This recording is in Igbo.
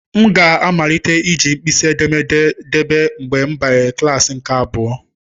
M ga amalite iji mkpịsị edémédé debe mgbe mbanyere klasị nke abụa.